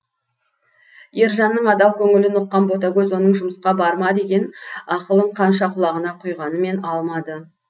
ержанның адал көңілін ұққан ботагөз оның жұмысқа барма деген ақылын қанша құлағына құйғанмен алмады